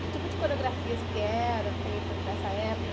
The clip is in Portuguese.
Que tipo de coreografias que eram feitas nessa época?